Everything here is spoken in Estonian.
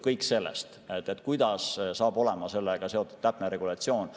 Kõik sõltub sellest, kuidas saab olema sellega seotud täpne regulatsioon.